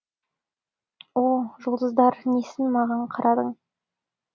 о жұлдыздар несін маған қарадың